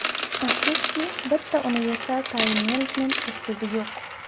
Afsuski, bitta universal taym-menejment uslubi yo‘q.